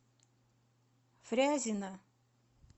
фрязино